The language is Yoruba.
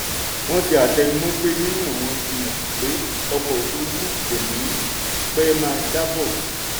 wọ́n ṣe àtẹnumọ́ pé yíyan wọn fi hàn pé ọkọ̀ òfúrúfú kò ní pẹ́ máa jábọ́.